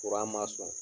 ma sɔn